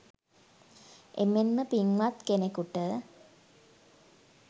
එමෙන් ම පින්වත් කෙනෙකුට